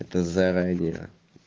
это заранее